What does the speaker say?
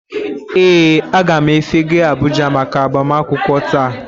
Ee, aga m efega Abuja maka agbamakwụkwọ taa